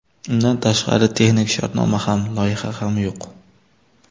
Undan tashqari, texnik shartnoma ham, loyiha ham yo‘q.